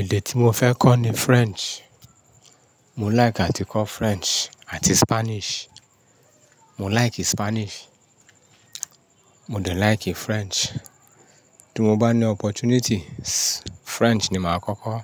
Èdè tí mo fẹ́ kọ́ ni French. Mo like àti kọ́ French àti Spanish. Mo like Spanish, mo dẹ̀ like French. Tí mo bá ní opportunity, French ni màá kọ́kọ́